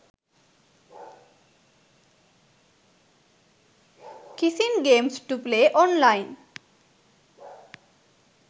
kissing games to play online